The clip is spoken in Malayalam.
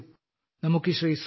വരൂ നമുക്ക് ശ്രീ